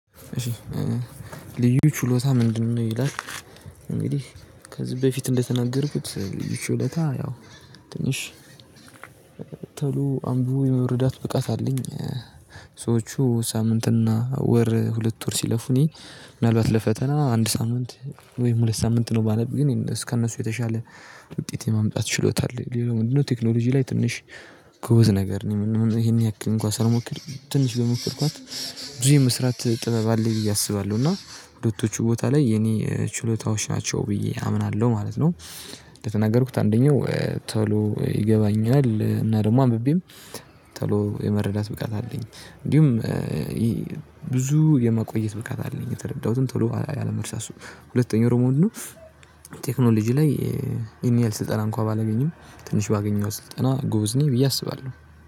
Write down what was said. ልዩ ችሎታ ምንድነው? ይላል እንግዲህ ከዚህ በፊት እንደተናገርኩት ልዩ ችሎታ ያው ትንሽ ተሎ አንብቦ የመረዳት ብቃት አለኝ። ሰዎቹ ሳምንትና ወር ሁለት ወር ሲለፉ እኔ ምናልባት ለፈተና አንድ ሳምንት ወይም ሁለት ሳምንት ነው ባነብ ግን ከእነሱ የተሻለ ውጤት ማምጣት ችሎታ አለኝ። ግን ምንድነው? ቴክኖሎጂ ላይ ትንሽ ጎበዝ ነገር ነኝ አሁን ይሄን ያክል እንኳን ሳልሞክር ትንሽ በሞከርኳት ብዙ የመስራት ጥበብ አለኝ ብዬ አስባለሁ እና ሁለቶቹ ቦታ ላይ የኔ ችሎታዎች ናቸው ብዬ አምናለሁ ማለት ነው። ለተናገርኩት አንደኛው ቶሎ ይገባኛል እና ደግሞ አንብቤም ቶሎ የመረዳት ብቃት አለኝ። እንዲሁም ብዙ የመቆየት ብቃት አለኝ የተረዳሁትን ቶሎ አለመርሳሱ ሁለተኛው ደሞ ምንድነው? ቴክኖሎጂ ላይ ይሄን ያህል ስልጠና እንኳን ባላገኝም ትንሽ ባገኘኋት ስልጠና ጎበዝ ነኝ ብዬ አስባለሁ